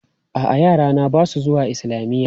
A'a, yarana ba su zuwa islamiyya.